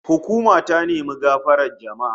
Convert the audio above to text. Hukuma ta nemi gafarar jama'a